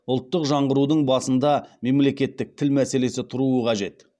ұлттық жаңғырудың басында мемлекеттік тіл мәселесі тұруы қажет